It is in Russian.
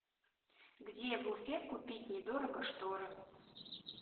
где в уфе купить недорого шторы